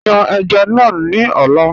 Yàn èjá náà ni ọ̀lá